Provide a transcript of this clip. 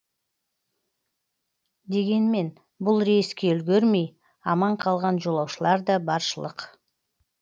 дегенмен бұл рейске үлгермей аман қалған жолаушылар да баршылық